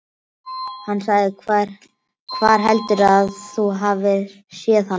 Hann sagði: Hvar heldurðu að þú hafir séð hana?